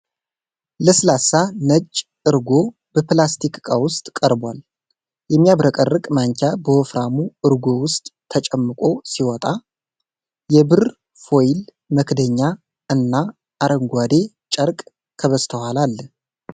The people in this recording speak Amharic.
ለስላሳ፣ ነጭ እርጎ በፕላስቲክ ዕቃ ውስጥ ቀርቧል ። የሚያብረቀርቅ ማንኪያ በወፍራሙ እርጎ ውስጥ ተጨምቆ ሲወጣ፣ የብር ፎይል መክደኛ እና አረንጓዴ ጨርቅ ከበስተኋላ አለ።